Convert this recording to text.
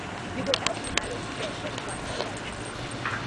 you go help me arrange chair for di party wey i dey host